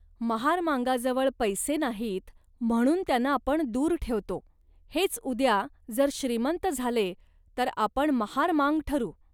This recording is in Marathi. महारामांगाजवळ पैसे नाहीत, म्हणून त्यांना आपण दूर ठेवतो. हेच उद्या जर श्रीमंत झाले, तर आपण महारमांग ठरू